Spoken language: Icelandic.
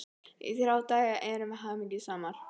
Í þrjá daga erum við hamingjusamar.